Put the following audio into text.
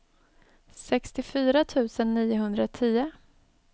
sextiofyra tusen niohundratio